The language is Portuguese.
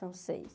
São seis.